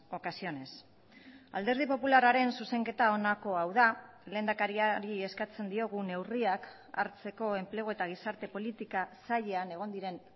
ocasiones alderdi popularraren zuzenketa honakoa hau da lehendakariari eskatzen diogu neurriak hartzeko enplegu eta gizarte politika sailean egon diren